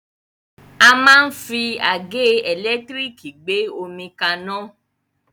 A máa ń fi àgẹ́ ẹ̀lẹ́tírìkì gbé omi kaná.